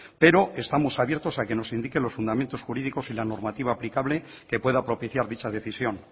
pero estamos abiertos a que nos indique los fundamentos jurídicos y la normativa aplicable que pueda propiciar dicha decisión